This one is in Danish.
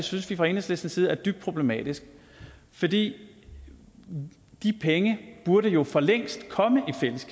synes vi fra enhedslistens side er dybt problematisk for de penge burde jo for længst